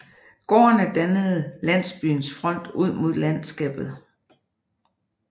Gårdene dannede landsbyens front ud mod landskabet